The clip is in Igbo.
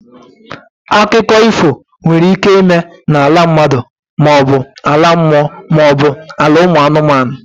Akụkọ ifo nwere ike ịme n'ala mmadụ maọbu ala mmụọ maọbụ ala ụmụ anụmanụ.